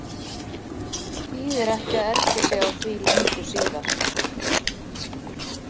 Þýðir ekki að ergja sig á því löngu síðar.